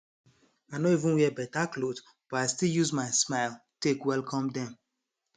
i nor even wear beta cloth but i still use my smile take welcome dem